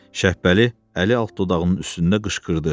Şəhbəli əli alt dodağının üstündə qışqırdı.